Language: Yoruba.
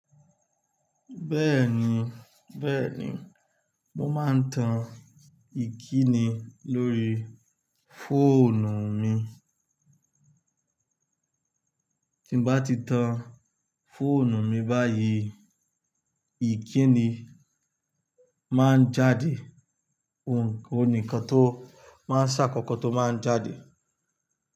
Bẹ́ẹ̀ni, bẹ́ẹ̀ni. Mo máa ń tan ìkíni lórí fóònù mi. Tí bá ti tan fóònù mi báyìí, ìkíni máa ń jáde. Ohùn nì ikan tó máa ń ṣàkọkọ tó máa ń jáde.